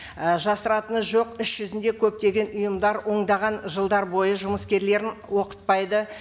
і жасыратыны жоқ іс жүзінде көптеген ұйымдар ондаған жылдар бойы жұмыскерлерін оқытпайды